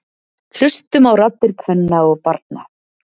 Hlustum á raddir kvenna og barna